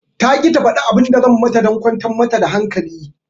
Taƙi ta faɗi abin da zan mata dan kwantar mata da hankali